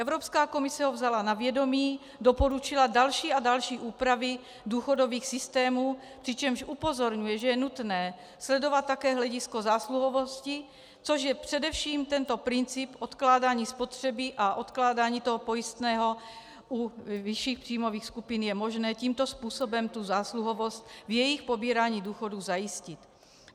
Evropská komise ho vzala na vědomí, doporučila další a další úpravy důchodových systémů, přičemž upozorňuje, že je nutné sledovat také hledisko zásluhovosti, což je především tento princip odkládání spotřeby a odkládání toho pojistného u vyšších příjmových skupin je možné tímto způsobem tu zásluhovost v jejich pobírání důchodů zajistit.